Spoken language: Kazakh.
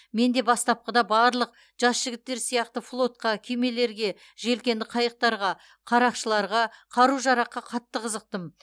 мен де бастапқыда барлық жас жігіттер сияқты флотқа кемелерге желкенді қайықтарға қарақшыларға қару жараққа қатты қызықтым